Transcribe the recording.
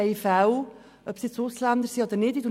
Es kann Ausländer oder andere Leute betreffen.